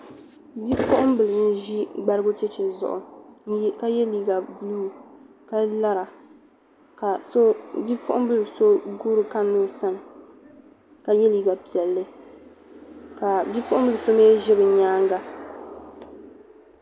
bi'puɣim bila n ʒi gbarigu cheche zuɣu ka ye liiga buluu ka lara ka bi'puɣimbla guuri kanna o sani ka ye liiga piɛlli ka bi'puɣimbliso mii ʒi bɛ nyaaŋa